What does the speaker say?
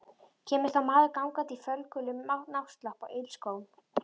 Kemur þá maður gangandi í fölgulum náttslopp og ilskóm.